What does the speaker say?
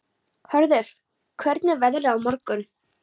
Hörður, hvernig er veðrið á morgun?